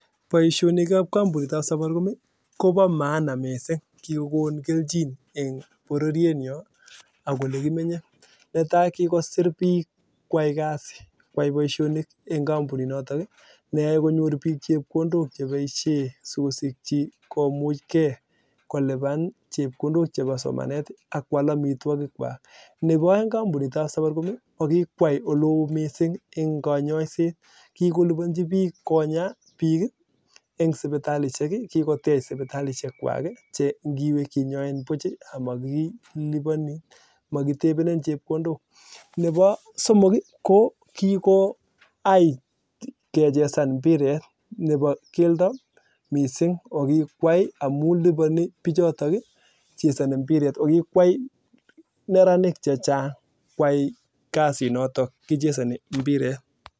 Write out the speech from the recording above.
Boo maana missing konuu kelchin netai kikosir bik kwai boishonik eng kampunit notok neae konyor bik chepkondok sikosikchi komuchee neboo aeng kikwai safaricom oloo eng konyosiet kikolibanchi bik konya bik eng sipitalishek ii kikotech sibitalishek kwak che ngiwee kinyoin buch nebo somok ii kechezan mpiret nebo keldo missing amuu lipani bichotok chezani